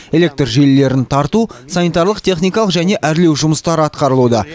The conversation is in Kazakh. электр желілерін тарту санитарлық техникалық және әрлеу жұмыстары атқарылуда